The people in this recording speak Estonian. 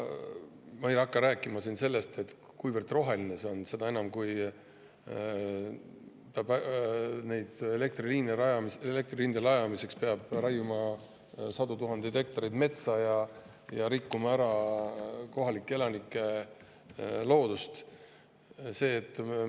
Ma ei hakka rääkima sellest, kuivõrd roheline see on, seda enam, kui nende elektriliinide rajamiseks peab raiuma sadu tuhandeid hektareid metsa ja me rikume kohalikele elanikele loodust.